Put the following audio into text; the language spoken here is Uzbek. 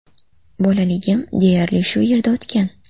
Bolaligim deyarli shu yerda o‘tgan.